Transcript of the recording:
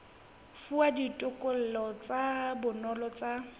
fuwa ditokelo tsa bona tsa